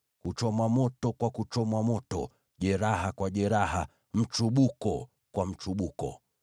kuchomwa moto kwa kuchomwa moto, jeraha kwa jeraha, mchubuko kwa mchubuko.